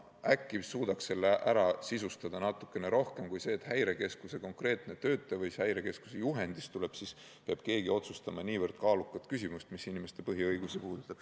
Äkki suudaksite selle mõiste natuke täpsemini sisustada, et Häirekeskuse töötaja või Häirekeskuse juhendist tulenev isik ei peaks otsustama niivõrd kaalukat küsimust, mis puudutab inimeste põhiõigusi.